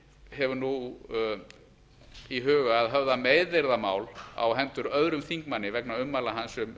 hefur nú í huga að höfða meiðyrðamál á hendur öðrum þingmanni vegna ummæla hans um